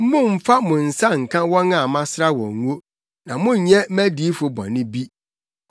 “Mommfa mo nsa nka wɔn a masra wɔn ngo; na monnyɛ mʼadiyifo bɔne bi.”